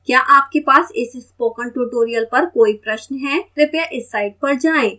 क्या आपके पास इस spoken tutorial पर कोई प्रश्न है कृपया इस साइट पर जाएं